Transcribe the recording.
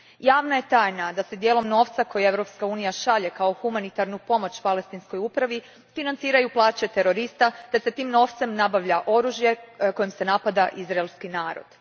Javna je tajna da se dijelom novca koji Europska unija šalje kao humanitarnu pomoć Palestinskoj upravi financiraju plaće terorista te se tim novcem nabavlja oružje kojim se napada izraelski narod.